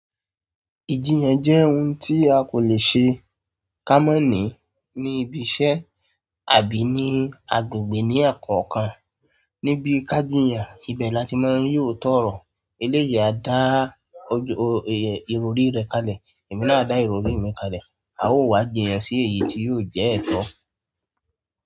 Ìjiyàn jẹ́ ohun tí a kò le ṣe ká mọ́ ní ní ibi iṣẹ́ àbí ní agbègbè ní ẹ́ẹ̀kọ̀kan. Níbi ká jiyàn, ibẹ̀ la ti máa y'óòtọ ọrọ. Eleyi á dá ìrọrí rẹ̀ kalẹ̀, èmi náà dá ìrọrí mi kalẹ̀. A ó wá jiyàn sí èyí tí yóò jẹ́ ẹ̀tọ́.